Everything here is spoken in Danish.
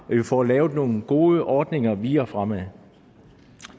får lavet nogle gode ordninger videre fremad